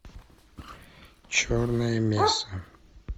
черная месса